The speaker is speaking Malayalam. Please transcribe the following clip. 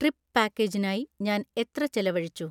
ട്രിപ്പ് പാക്കേജിനായി ഞാൻ എത്ര ചെലവഴിച്ചു?